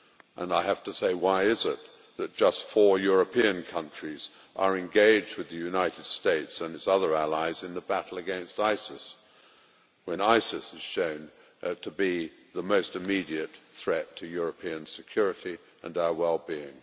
And I have to say why is it that just four European countries are engaged with the United States and its other allies in the battle against ISIS when ISIS is shown to be the most immediate threat to European security and our wellbeing?